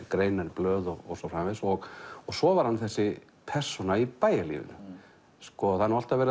greinar í blöð og svo framvegis og svo var hann þessi persóna í bæjarlífinu það er alltaf verið